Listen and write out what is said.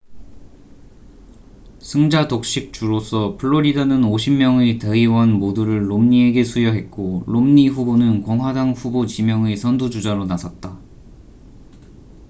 승자독식 주로서 플로리다는 50명의 대의원 모두를 롬니에게 수여했고 롬니 후보는 공화당 후보 지명의 선두 주자로 나섰다